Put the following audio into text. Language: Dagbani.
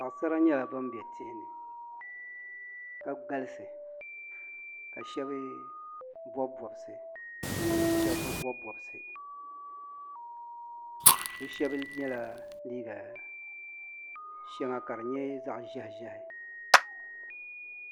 Paɣisara nyɛla ban be tihi ni ka galisi ka shɛba bɔbi bɔbisi ka shɛba bi bɔbi bɔbisi bɛ shɛba yela liiga shɛŋa ka nyɛ zaɣ'ʒɛhi ʒɛhi.